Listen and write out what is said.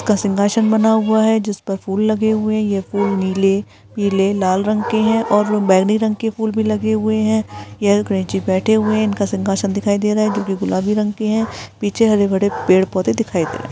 का सिंहासन बना है जिसमें फूल लगे हुए है यह फूल नीले पीले लाल रंग के हैं और वह बैगनी रंग के भी फूल लगे हुए हैं यह गणेश जी बैठे हुए हैं इनका सिहासन दिखाई दे रहा है जो की गुलाबी रंग का है पीछे हरे-भरे पेड़-पौधे दिखाई दे रहै